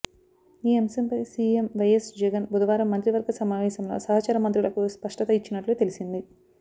ఈ అంశంపై CM YS Jagan బుధవారం మంత్రివర్గ సమావేశంలో సహచర మంత్రులకు స్పష్టత ఇచ్చినట్లు తెలిసింది